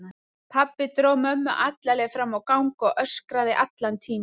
Pabbi dró mömmu alla leið fram á gang og öskraði allan tímann.